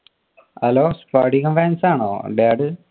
hello Spadikam fans ആണോ daddy